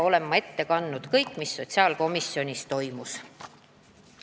Olen ette kandnud kõik, mis sotsiaalkomisjonis toimus.